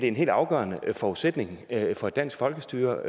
en helt afgørende forudsætning for et dansk folkestyre